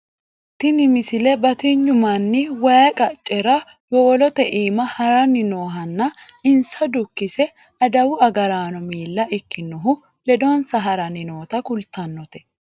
tini misile batinyu manni wayi qaccera yowolote iima haranni noohanna insa dukkkise adawu agaraano miila ikkinohu ledonsa haranni noota kultannote